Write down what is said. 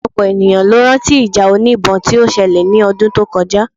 Ọ̀pọ̀lọpọ̀ ènìyàn ló rán tí ìjà oníbọn tí ó ṣẹlẹ̀ ní ọdún tó kọjá